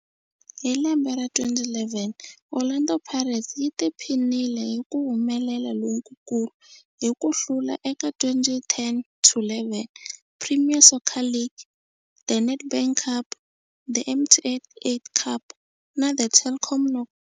Hi lembe ra 2011, Orlando Pirates yi tiphinile hi ku humelela lokukulu hi ku hlula eka 2010-11 Premier Soccer League, The Nedbank Cup, The MTN 8 Cup na The Telkom Knockout.